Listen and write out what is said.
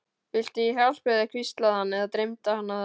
Viltu ég hjálpi þér, hvíslaði hann- eða dreymdi hana það?